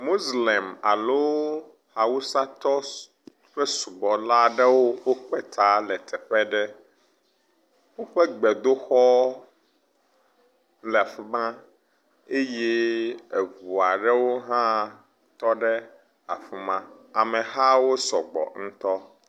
Moslem alo awusatɔ s…ƒe subɔla ɖewo wokpe ta le teƒe aɖe. Woƒe gbedoxɔ le afi ma eye eŋu aɖewo hã tɔ ɖe afi ma. Amehawo sɔgbɔ ŋutɔ,